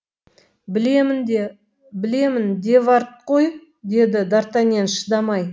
білемін де вард қой деді дартаньян шыдамай